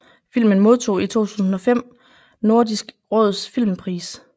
Filmen modtog i 2005 Nordisk Råds Filmpris